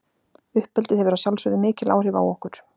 Uppeldið hefur að sjálfsögðu mikil áhrif á okkur.